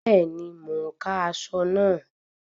Bẹ́ẹ̀ni, mo ń ka aṣọ náà